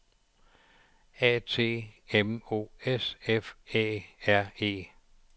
A T M O S F Æ R E